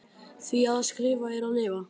Því að skrifa er að lifa.